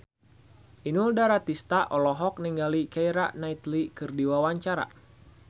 Inul Daratista olohok ningali Keira Knightley keur diwawancara